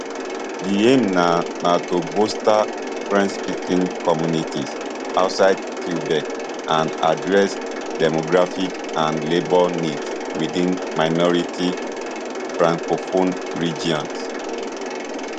di aim na na to bolster frenchspeaking communities outside quebec and address demographic and labour needs within minority francophone regions